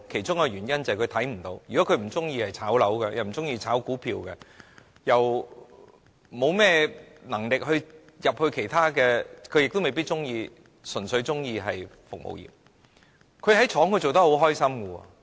他們可能不喜歡"炒樓"或"炒股票"，沒有能力加入其他行業，亦未必喜歡從事服務業；他們在工廠內工作得很快樂。